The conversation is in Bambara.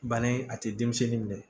Bana in a tɛ denmisɛnnin minɛ